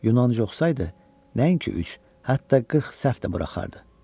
Yunanca oxsaydı nəinki üç, hətta qırx səhv də buraxardı.